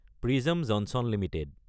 prism Johnson Ltd